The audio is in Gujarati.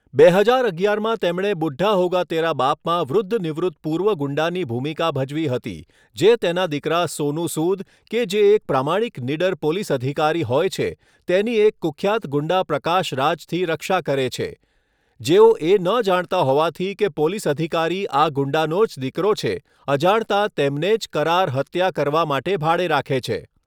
બે હજાર અગિયારમાં તેમણે બુઢ્ઢા હોગા તેરા બાપમાં વૃદ્ધ નિવૃત્ત પૂર્વ ગુંડાની ભૂમિકા ભજવી હતી જે તેના દીકરા સોનુ સૂદ, કે જે એક પ્રામાણિક નીડર પોલિસ અધિકારી હોય છે, તેની એક કુખ્યાત ગુંડા પ્રકાશ રાજથી રક્ષા કરે છે, જેઓ એ ન જાણતા હોવાથી કે પોલિસ અધિકારી આ ગુંડાનો જ દીકરો છે, અજાણતા તેમને જ કરાર હત્યા કરવા માટે ભાડે રાખે છે.